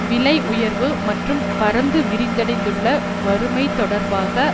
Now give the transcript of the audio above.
விலை உயர்வு மற்றும் பரந்து விரிவடைந்துள்ள வறுமை தொடர்பாக